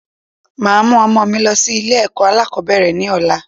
Màá mú ọmọ mi lọ sí Ilé èkó alákòbéèrè ni ọ̀la